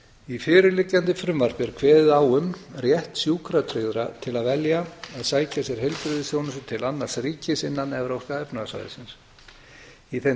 í fyrirliggjandi frumvarpi er kveðið á um rétt sjúkratryggðra til að velja að sækja sér heilbrigðisþjónustu til annars ríkis innan evrópska efnahagssvæðisins í þeim